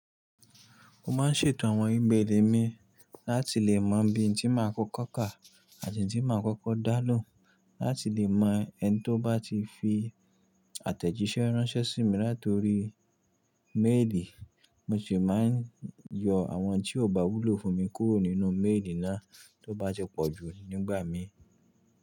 Mo máa ń ṣètò àwọn e-mail mi láti lè mọ ibi tí màá kọ́kọ́ kà àti ibi tí màá kọ́kọ́ dà lohun láti lè mọ ẹni tí ó bá ti fi àtẹ̀jíṣẹ́ ránṣẹ́ sí mi latori mail. Mo sì máa ń yọ àwọn tí ò bá wúlò fún mi kúrò nínú mail náà tí ó bá ti pọ̀ jù nígbà mi.